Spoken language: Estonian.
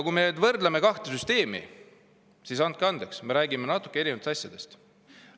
Kui me võrdleme kahte süsteemi, siis andke andeks, aga me räägime natuke erinevatest asjadest.